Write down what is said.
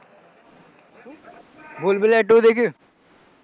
ભૂલ ભુલૈયા two દેખ્યું.